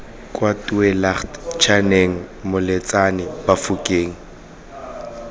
kwa tweelaagte chaneng moletsane bafokeng